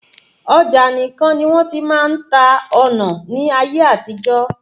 Ọjà nìkan ní wọ́n ti máa ń ta ọnà ní ayé àtijọ́.